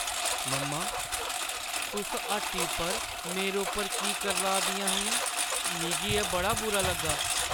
मम्मा! तुस हट्टी पर मेरे उप्पर की करलाऽ दियां हियां, मिगी एह् बड़ा बुरा लग्गा।